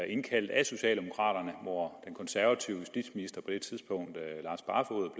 indkaldt af socialdemokraterne og hvor den konservative justitsminister på det tidspunkt